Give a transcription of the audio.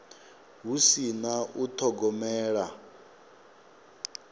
hu si na u thogomela